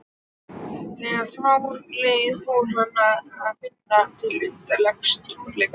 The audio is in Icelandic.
Þegar frá leið fór hann að finna til undarlegs tómleika.